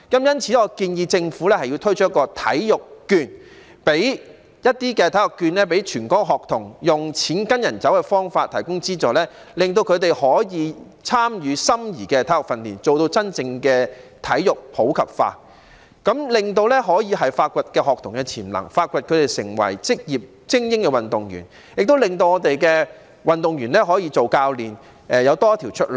因此，我建議政府推出體育券予全港學童，以"錢跟人走"的方法提供資助，令他們可以參與心儀的體育訓練，做到真正的體育普及化，這樣便可以發掘學童的潛能，培養他們成為職業精英運動員，亦應令香港的運動員成為教練。